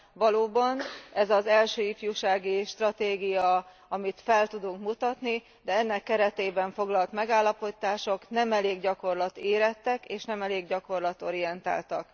Valóban, ez az első ifjúsági stratégia, amit fel tudunk mutatni, de az ennek keretében foglalt megállapítások nem elég gyakorlatérettek és nem elég gyakorlatorientáltak.